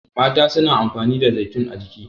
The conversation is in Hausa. mata suna amfani da zaitun a jiki